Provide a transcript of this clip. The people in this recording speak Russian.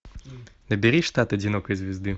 набери штат одинокой звезды